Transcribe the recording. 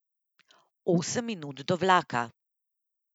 Osem minut do vlaka.